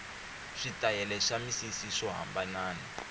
switayele swa misisi swo hambanana